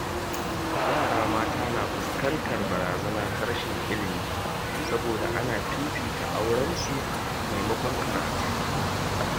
Yara mata na fuskantar barazana ta rashin ilimi saboda ana fifita auran su maimakon karatu.